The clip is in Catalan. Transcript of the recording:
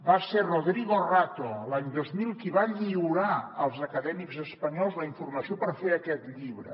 va ser rodrigo rato l’any dos mil qui va lliurar als acadèmics es·panyols la informació per fer aquest llibre